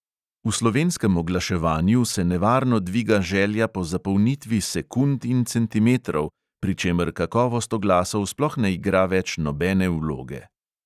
V slovenskem oglaševanju se nevarno dviga želja po zapolnitvi sekund in centimetrov, pri čemer kakovost oglasov sploh ne igra več nobene vloge.